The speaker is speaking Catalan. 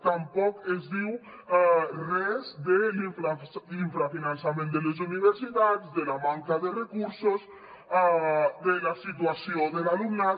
tampoc es diu res de l’infrafinançament de les universitats de la manca de recursos de la situació de l’alumnat